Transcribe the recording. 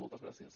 moltes gràcies